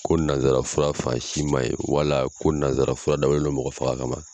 Ko nanzara fura fan si man ɲi wala ko nanzara fura dabɔlen mɔgɔ faga ka ma.